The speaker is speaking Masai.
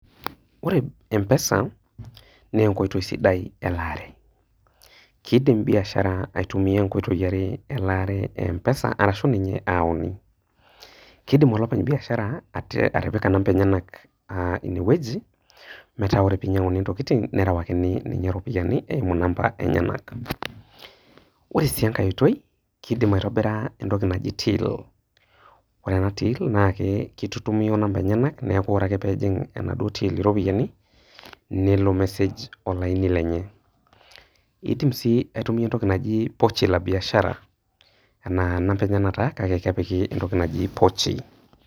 Ore empesa, na enkoitoi sidai elaare ,kidim biashara aitumia nkoitoi are elaare e mpesa, kidim olopeny biashara atipika nimber enyenak aa inewueji metaabore pinyanguni ntokitin nerewakini ninye ropiyani eimu namba enyenak, ore si enkae oitoi kidim aitobira entoki naji till ore enatill kitutumi o namba enyenak metaa ore pejing enaduo till ropiyiani nelo message olaini lenye, kidim si aitumia entoki naji pochi la biashara na number enyenak taa kake kepiki entoki naji pochi.